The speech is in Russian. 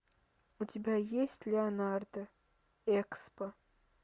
у тебя есть леонардо экспо